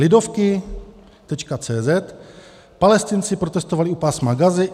Lidovky.cz - Palestinci protestovali u Pásma Gazy.